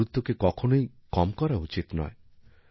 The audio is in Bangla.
এরগুরুত্বকে কখনোই খাটো করা উচিত নয়